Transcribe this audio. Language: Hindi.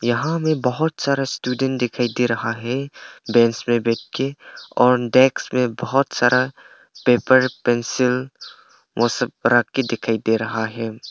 यहां में बहुत सारा स्टूडेंट दिखाई दे रहा है बेंच पे बैठ के और डेस्क में बहुत सारा पेपर पेंसिल ओ सब रख के दिखाई दे रहा है।